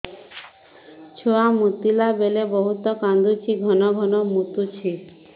ଛୁଆ ମୁତିଲା ବେଳେ ବହୁତ କାନ୍ଦୁଛି ଘନ ଘନ ମୁତୁଛି